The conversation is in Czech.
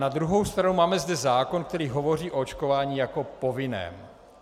Na druhou stranu zde máme zákon, který hovoří o očkování jako povinném.